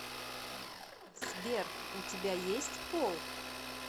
сбер у тебя есть пол